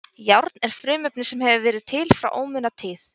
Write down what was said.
Járn er frumefni sem hefur verið til frá ómunatíð.